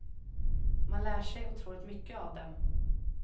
Man lär sig otroligt mycket av det.